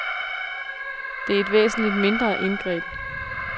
Det er et væsentligt mindre indgreb.